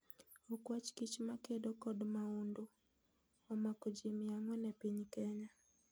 Okwach kich makedo kod maundu omako ji mia ang'wen e piny Kenya